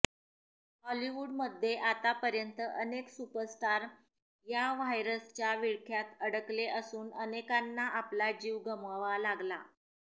हॉलिवूडमध्ये आतापर्यंत अनेक सुपरस्टार या व्हायरसच्या विळख्यात अडकले असून अनेकांना आपला जीव गमवावा लागला